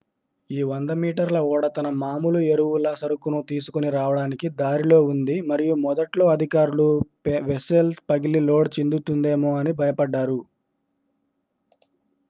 ఈ 100 మీటర్ల ఓడ తన మాములు ఎరువుల సరుకును తీసుకొని రావడానికి దారిలో ఉంది మరియు మొదట్లో అధికారులు వెస్సెల్ పగిలి లోడ్ చిందుతుందేమో అని భయపడ్డారు